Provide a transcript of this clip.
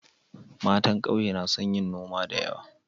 Matan kauye na son yin noma da yawa.